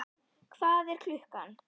Hvað er klukkan?